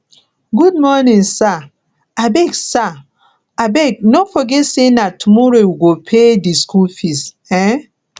good morning sir abeg sir abeg no forget sey na tomorrow we go pay di skool fees um